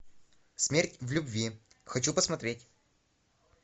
смерть в любви хочу посмотреть